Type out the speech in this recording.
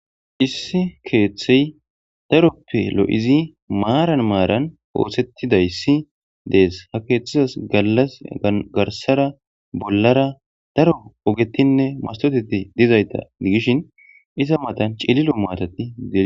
Issi keeththey daroppe lo'izi maaran maaran ootsettidayssi dees ha keeththizas gallas garsara bollara daro ogetinne masoteti dizayta gigishin iza matan cililo maatati diee..